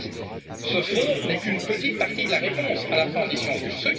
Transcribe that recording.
En fait, ce fonds n'est qu'une petite partie de la réponse à la transition